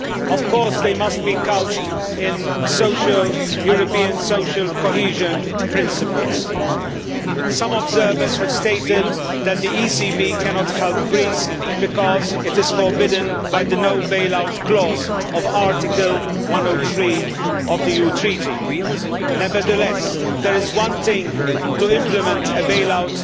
Of course, they must be couched in line with European social cohesion principles. Some observers have stated that the ECB cannot help Greece because this is forbidden by the no bail out' clause of Article 103 of the EU Treaty. Nevertheless, it is one thing to implement a bail out